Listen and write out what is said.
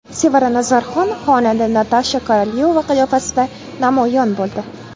Sevara Nazarxon xonanda Natasha Korolyova qiyofasida namoyon bo‘ldi.